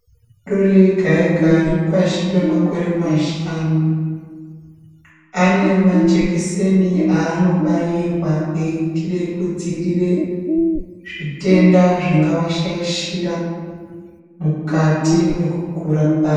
Ana adori ega-ege aripashi pemakore mashanu. Ane majekiseni anobairwa eiitire kudziirire zvitenda zvingava shaichira mukati mwekukura kwavo.